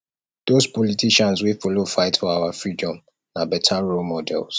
dose politicians wey folo fight for our freedom na beta role models role models